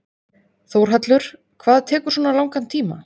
Þórhallur: Hvað tekur svona langan tíma?